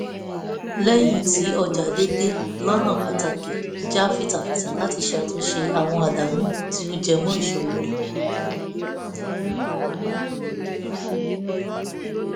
lẹ́yìn tí ọjà dẹ̀dẹ̀ lọ́nà pàtàkì her jà fitafita láti ṣe àtúnṣe àwọn àdánù tí ó jẹ mọ́ ìsòwò rẹ̀